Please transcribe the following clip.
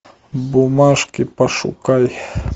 бумажки пошукай